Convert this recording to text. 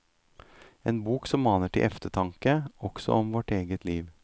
En bok som maner til eftertanke, også om vårt eget liv.